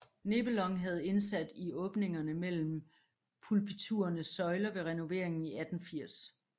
Nebelong havde indsat i åbningerne mellem pulpiturenes søjler ved renoveringen i 1860